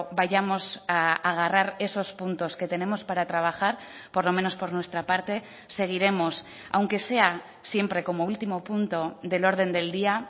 vayamos a agarrar esos puntos que tenemos para trabajar por lo menos por nuestra parte seguiremos aunque sea siempre como último punto del orden del día